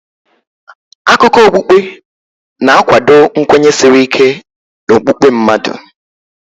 Akụkọ okpukpe na-akwado nkwenye siri ike n'okpukpe mmadụ.